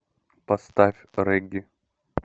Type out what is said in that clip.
поставь регги